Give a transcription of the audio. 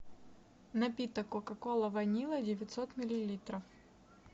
напиток кока кола ванила девятьсот миллилитров